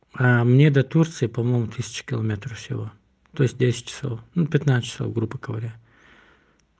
а мне до турции по-моему тысяча километров всего то есть десять часов пятнадцать грубо говоря